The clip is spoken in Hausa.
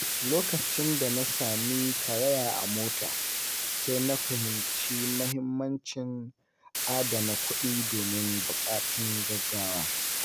Lokacin da na sami karaya a mota, sai na fahimci muhimmancin adana kuɗi domin buƙatun gaugawa.